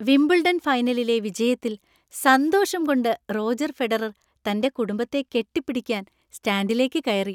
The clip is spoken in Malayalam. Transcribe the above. വിംബിൾഡൺ ഫൈനലിലെ വിജയത്തിൽ സന്തോഷം കൊണ്ട് റോജർ ഫെഡറർ തന്‍റെ കുടുംബത്തെ കെട്ടിപ്പിടിക്കാൻ സ്റ്റാൻഡിലേക്ക് കയറി.